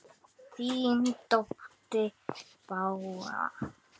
Þín dóttir Bára.